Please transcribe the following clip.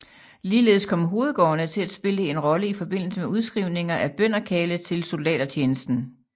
Ligeledes kom hovedgårdene til at spille en rolle i forbindelse med udskrivninger af bønderkarle til soldatertjenesten